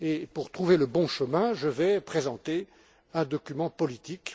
Pour trouver le bon chemin, je vais présenter un document politique.